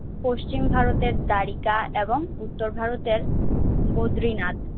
পশ্চিম ভারতের ডারিকা এবং উত্তর ভারতের বদ্রিনাথ।